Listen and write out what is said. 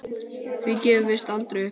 Því gefumst við aldrei upp.